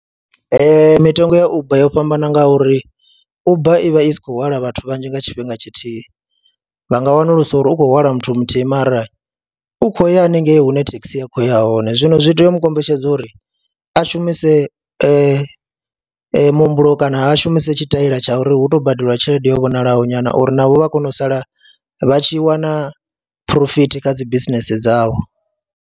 Ee, mitengo ya Uber yo fhambana ngauri Uber i vha i si khou hwala vhathu vhanzhi nga tshifhinga tshithihi, vha nga wanulusa uri hu khou hwala muthu muthihi mara u kho ya haningei hune thekhisi ya khou ya hone zwino zwi tea u mu kombetshedza uri a shumise muhumbulo kana a shumise tshitaila tsha uri hu tou badeliwa tshelede yo vhonalaho nyana uri navho vha kone u sala vha tshi wana phurofiti kha dzi bisinese dzavho.